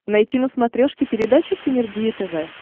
найти на смотрешке передачу синергия тв